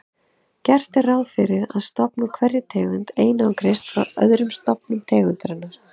Gert er ráð fyrir að stofn úr einhverri tegund einangrist frá öðrum stofnum tegundarinnar.